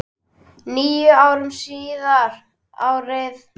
Níu árum síðar, árið